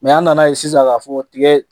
an nana ye sisan k'a fɔ tiga